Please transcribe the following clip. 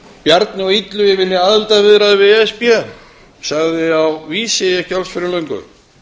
bjarni og illugi vilja aðildarviðræður við e s b sagði á vísi ekki alls fyrir löngu